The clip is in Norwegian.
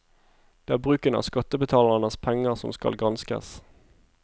Det er bruken av skattebetalernes penger som skal granskes.